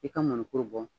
I ka mɔnikuru bɔ